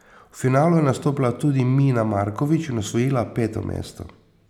V finalu je nastopila tudi Mina Markovič in osvojila peto mesto.